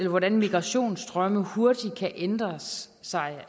hvordan migrationsstrømme hurtigt kan ændre sig